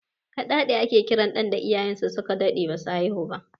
Kaɗaɗe ake kiran ɗan da iyayen sa su ka daɗe ba su haihu ba